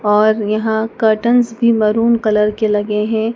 और यहां curtains maroon colour के लगे हैं।